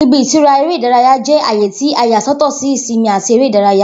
Ibi-itura ere ìdárayá jẹ aaye ti a ya sọtọ si ìsinmi ati eré ìdárayá.